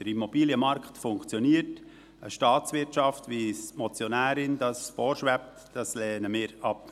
Der Immobilienmarkt funktioniert, eine Staatswirtschaft wie es der Motionärin vorschwebt, lehnen wir ab.